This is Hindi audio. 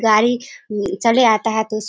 गाड़ी चले आता है तो उस --